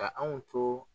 Ka anw to